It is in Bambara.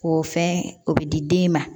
O fɛn o bɛ di den ma